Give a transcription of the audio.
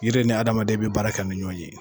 Yiri ni adamaden bɛ baara kɛ ni ɲɔgɔn ye